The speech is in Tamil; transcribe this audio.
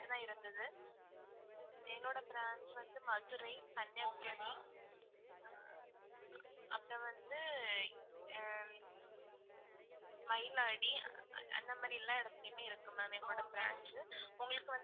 சென்னை இருந்தது என்னோட branch வந்து மதுரை, கன்னியாகுமாரி, அப்பறம் வந்து ஹம் அந்தமாரி எல்லா இடதுளையுமே இருக்கு ma'am எங்களோட branch உங்களுக்கு வந்து.